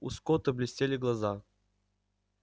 у скотта блестели глаза